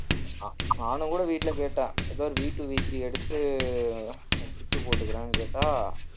நா~ நானும் கூட வீட்டுல கேட்டேன் ஏதோ ஒரு VtwoVthree எடுத்து kit உ போட்டுக்குறன்னு கேட்டா